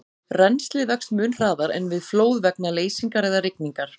Rennslið vex mun hraðar en við flóð vegna leysingar eða rigningar.